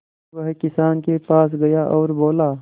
वह किसान के पास गया और बोला